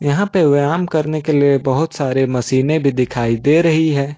यहां पे व्यायाम करने के लिए बहुत सारे मशीनें भी दिखाई दे रही है।